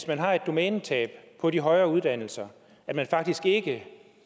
man har et domænetab på de højere uddannelser at man faktisk